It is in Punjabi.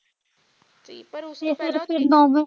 ਪਰ ਉਸਨੇ